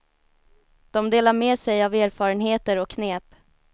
De delar med sig av erfarenheter och knep.